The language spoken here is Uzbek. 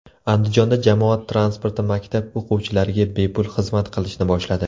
Andijonda jamoat transporti maktab o‘quvchilariga bepul xizmat qilishni boshladi.